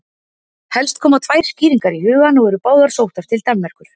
Helst koma tvær skýringar í hugann og eru báðar sóttar til Danmerkur.